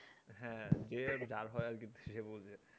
হ্যাঁ যার হয় আর কি সে বোঝে